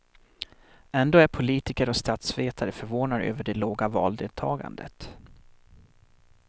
Ändå är politiker och statsvetare förvånade över det låga valdeltagandet.